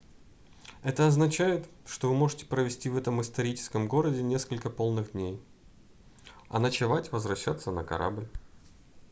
это означает что вы можете провести в этом историческом городе несколько полных дней а ночевать возвращаться на корабль